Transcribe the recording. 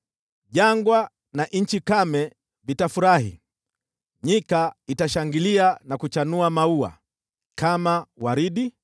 Jangwa na nchi kame vitafurahi; nyika itashangilia na kuchanua maua. Kama waridi,